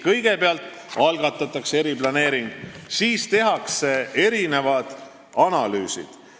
Kõigepealt algatatakse eriplaneering, siis tehakse analüüsid.